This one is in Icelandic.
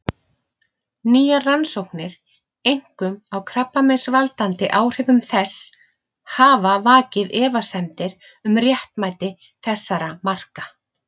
Nýjar rannsóknir, einkum á krabbameinsvaldandi áhrifum þess, hafa vakið efasemdir um réttmæti þessara marka.